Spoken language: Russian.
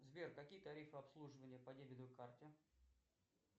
сбер какие тарифы обслуживания по дебетовой карте